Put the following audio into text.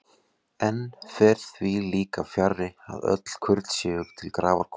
Enn fer því líka fjarri, að öll kurl séu til grafar komin.